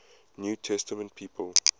new testament people